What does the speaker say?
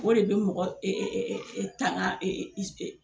O de bɛ mɔgɔ tanga